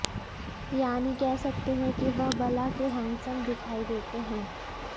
यानी कह सकते कि वह बला के हैंडसम दिखाई देते हैं